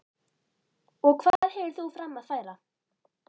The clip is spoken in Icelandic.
Og hvað hefur þú fram að færa?